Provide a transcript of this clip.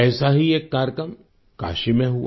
ऐसा ही एक कार्यक्रम काशी में हुआ